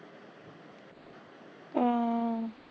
ਹਾਂ